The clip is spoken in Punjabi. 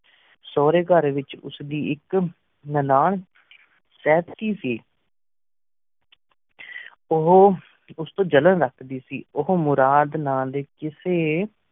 ਸੋਰੇ ਘਰ ਵਿਚ ਉਸਦੀ ਇਕ ਨਨਾਣ ਸੀ ਓਹ ਉਸ ਤੋਂ ਜਲਣ ਰੱਖਦੀ ਸੀ ਓਹੋ ਮੁਰਾਦ ਨਾਂ ਦੇ ਕਿਸੇ